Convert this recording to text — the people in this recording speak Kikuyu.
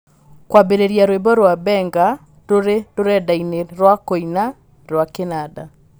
kwambĩrĩria rwĩmbo rwa benga rũrĩ rũrenda-inĩ rwa kũina rwa kĩnanda